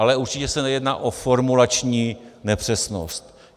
Ale určitě se jedná o formulační nepřesnost.